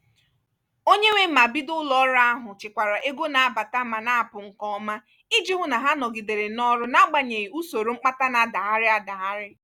onye nwe ma bido ụlọọrụ ahụ chịkwara ego na-abata ma na-apụ nke ọma iji hụ na ha nọgidere n'ọrụ n'agbanyeghị usoro mkpata na-adaghari adagharị.